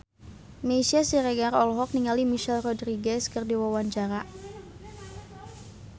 Meisya Siregar olohok ningali Michelle Rodriguez keur diwawancara